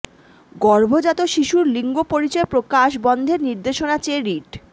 গর্ভজাত শিশুর লিঙ্গ পরিচয় প্রকাশ বন্ধের নির্দেশনা চেয়ে রিট